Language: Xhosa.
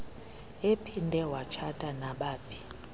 ephinde watshata nabaphi